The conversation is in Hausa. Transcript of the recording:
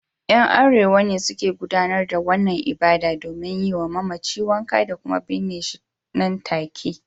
’Yan Arewa ne suke gudanar da wannan ibada domin yi wa mamaci wanka da kuma binne shi nan take